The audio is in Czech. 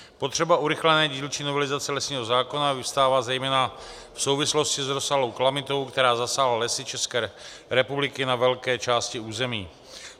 Potřeba urychlené dílčí novelizace lesního zákona vyvstává zejména v souvislosti s rozsáhlou kalamitou, která zasáhla lesy České republiky na velké části území.